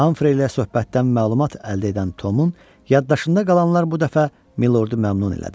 Hamfrey ilə söhbətdən məlumat əldə edən Tomun yaddaşında qalanlar bu dəfə milordu məmnun elədi.